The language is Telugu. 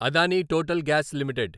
Adani Total Gas limited